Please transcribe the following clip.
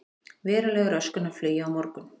Veruleg röskun á flugi á morgun